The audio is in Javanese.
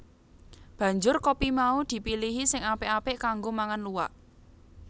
Banjur kopi mau dipilihi sing apik apik kanggo mangan luwak